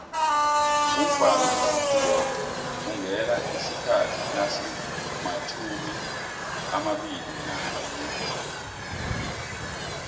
umvhangoungena isikhathi nasimatjhumiamabili nanye